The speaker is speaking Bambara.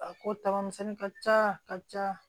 A ko tagama misɛnni ka ca ka ca